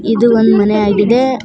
ಇದು ಒಂದ್ ಮನೆ ಆಗಿದೆ.